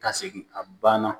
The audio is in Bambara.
Ka segin a banna